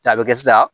A bɛ kɛ sisan